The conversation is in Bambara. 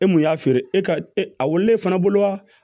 E mun y'a feere e ka e wololen fana bolo wa